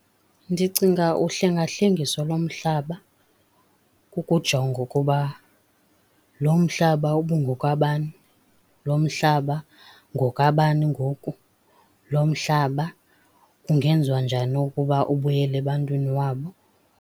Ndicinga uhlengahlengiso lomhlaba kukujonga ukuba lo mhlaba ubungokabani, lo mhlaba ngokabani ngoku, lo mhlaba kungenziwa njani ubuyele ebantwini wabo.